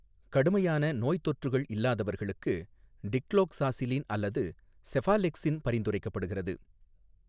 கடுமையான நோய்த்தொற்றுகள் இல்லாதவர்களுக்கு, டிக்ளோக்ஸாசிலின் அல்லது செஃபாலெக்சின் பரிந்துரைக்கப்படுகிறது.